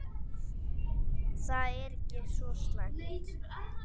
Þetta er ekki svo slæmt.